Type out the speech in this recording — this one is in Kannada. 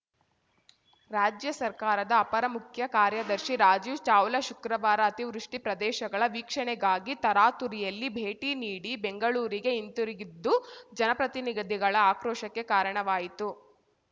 ರಾಜ್ಯ ಸರ್ಕಾರದ ಅಪರ ಮುಖ್ಯ ಕಾರ್ಯದರ್ಶಿ ರಾಜೀವ್‌ ಚಾವ್ಲಾ ಶುಕ್ರವಾರ ಅತಿವೃಷ್ಟಿಪ್ರದೇಶಗಳ ವೀಕ್ಷಣೆಗಾಗಿ ತರಾತುರಿಯಲ್ಲಿ ಭೇಟಿ ನೀಡಿ ಬೆಂಗಳೂರಿಗೆ ಹಿಂದಿರುಗಿದ್ದು ಜನಪ್ರತಿನಿಧಿಗಳ ಆಕ್ರೋಶಕ್ಕೆ ಕಾರಣವಾಯಿತು